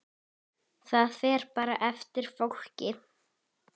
Það fer bara eftir fólki.